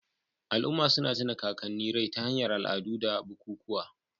Al'umma suna tuna kakanni rai ta hanyar al'adu da bukukuwa.